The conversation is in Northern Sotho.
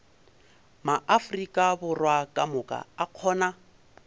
maafrika borwa kamoka a kgona